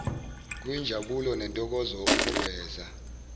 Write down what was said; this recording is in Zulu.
kuyinjabulo nentokozo ukuveza